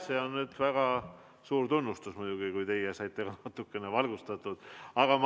See on nüüd väga suur tunnustus muidugi, kui teie saite natukene valgustatud.